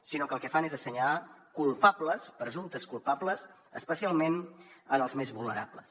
sinó que el que fan és assenyalar culpables presumptes culpables especialment els més vulnerables